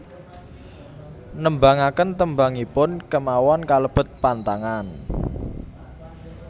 Nembangaken tembangipun kémawon kalebet pantangan